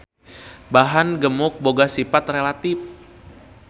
Bahan gemuk boga sipat relatif.